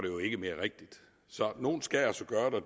jo ikke mere rigtigt så nogen skal altså gøre